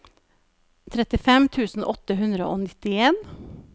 trettifem tusen åtte hundre og nittien